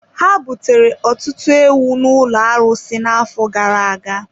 Ha butere ọtụtụ ewu n’ụlọ arụsị n’afọ gara aga.